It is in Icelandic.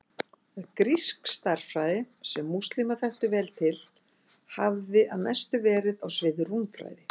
Grísk stærðfræði, sem múslímar þekktu vel til, hafði að mestu verið á sviði rúmfræði.